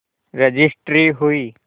registry हुई